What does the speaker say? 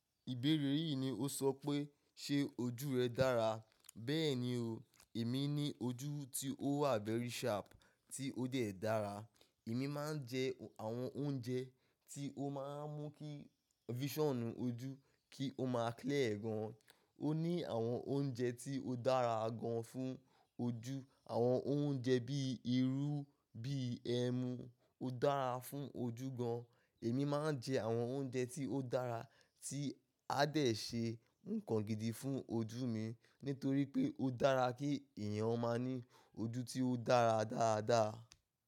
Ìbéèrè yìí ni ó sọ pé, ṣe ojú rẹ dára? Bẹ́ẹ̀ni o, èmi ní ojú tí ó wà vẹ́rì sharp tí ó dẹ̀ dára. Èmi máa ń jẹ àwọn oúnjẹ tí ó máa ń mú kí visonu ojú kí ó máa clear gan. Ó ní àwọn oúnjẹ tí ó dára gan fún ojú. Àwọn oúnjẹ bíi irú, bíi ẹmu ó dára fún ojú gan. Èmi máa ń jẹ àwọn oúnjẹ tí ó dára tí a dẹ̀ ṣe nǹkan gidi fún ojú mi nítorí pé ó dára kí èèyàn ó máa ní ojú tí ó dára dáadáa.